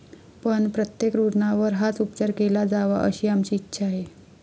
पण, प्रत्येक रुग्णावर हाच उपचार केला जावा अशी आमची इच्छा आहे.